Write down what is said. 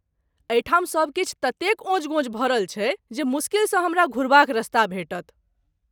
एहिठाम सब किछु ततेक अओंज गओंज भरल छै जे मुश्किलसँ हमरा घुरबाक रस्ता भेटत।